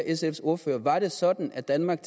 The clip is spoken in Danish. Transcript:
sfs ordfører var det sådan at danmark